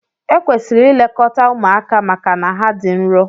Ekwesịrị ilekọta ụmụaka maka na ha dị nrọ.